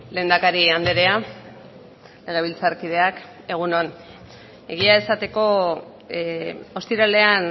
lehendakari andrea legebiltzarkideak egun on egia esateko ostiralean